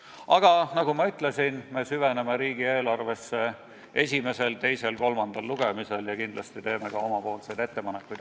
Aga nagu ma ütlesin, me süveneme riigieelarvesse esimesel, teisel ja kolmandal lugemisel ja kindlasti teeme ka omapoolseid ettepanekuid.